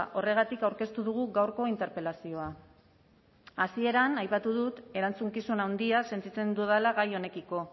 horregatik aurkeztu dugu gaurko interpelazioa hasieran aipatu dut erantzukizun handia sentitzen dudala gai honekiko